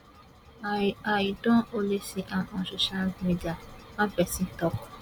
i i don only see am on social media one pesin tok